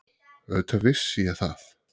Auðvitað vissi ég það.